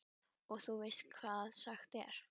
Og þú veist hvað sagt er?